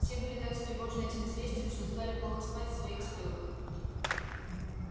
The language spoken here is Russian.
все были так встревожены этим известием что стали плохо спать в своих стойлах